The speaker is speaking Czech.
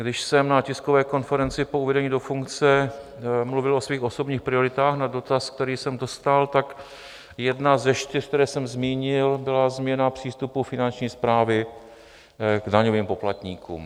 Když jsem na tiskové konferenci po uvedení do funkce mluvil o svých osobních prioritách na dotaz, který jsem dostal, tak jedna ze čtyř, které jsem zmínil, byla změna přístupu Finanční správy k daňovým poplatníkům.